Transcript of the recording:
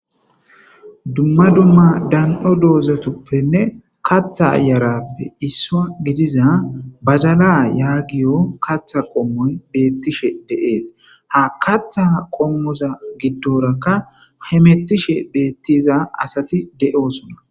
Dumma dumma dan'o doozatoppenne katha yarappe isso gidiza badala yaagiyo katha qommoy beettishe dees. ha katha qommoza giddorakka hemettishe beettiza asati de'oosona.